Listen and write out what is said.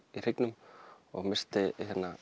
hryggnum og missti